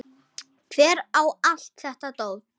Hver á allt þetta dót?